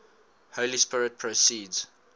holy spirit proceeds